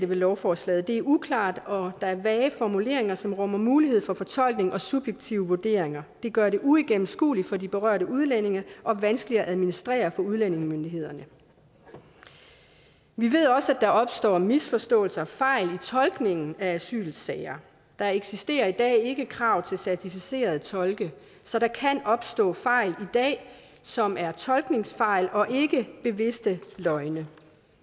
ved lovforslaget det er uklart og der er vage formuleringer som rummer mulighed for fortolkning og subjektive vurderinger det gør det uigennemskueligt for de berørte udlændinge og vanskeligt at administrere for udlændingemyndighederne vi ved også at der opstår misforståelser og fejl i tolkningen af asylsager der eksisterer i dag ikke krav til certificerede tolke så der kan opstå fejl som er tolkningsfejl og ikke bevidste løgne